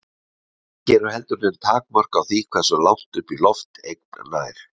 Ekki eru heldur nein takmörk á því hversu langt upp í loft eign nær.